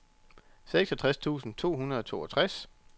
seksogtres tusind to hundrede og toogtres